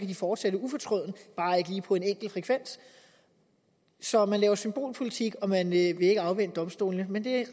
de fortsætte ufortrødent bare ikke lige på en enkel frekvens så man laver symbolpolitik og man vil ikke afvente domstolene men det